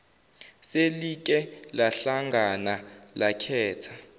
selike lahlangana lakhetha